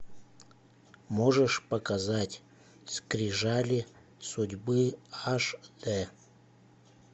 можешь показать скрижали судьбы аш дэ